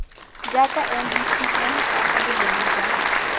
jaaka mbpm jaaka boleng jwa